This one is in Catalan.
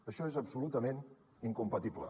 això és absolutament incompatible